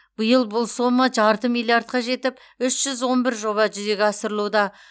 биыл бұл сома жарты миллиардқа жетіп үш жүз он бір жоба жүзеге асырылуда